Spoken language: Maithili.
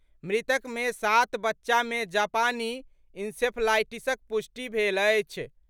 मृतक मे सात बच्चा मे जापानी इंसेफ्लाईटिसक पुष्टि भेल अछि।